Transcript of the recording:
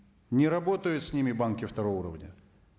не работают с ними банки второго уровня